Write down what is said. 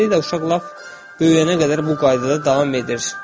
Beləliklə uşaq lap böyüyənə qədər bu qaydada davam edir.